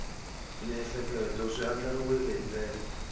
miehleketo swi andlariwile hi ndlela